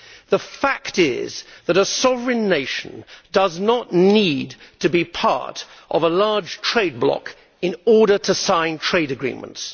The fact is that a sovereign nation does not need to be part of a large trade bloc in order to sign trade agreements.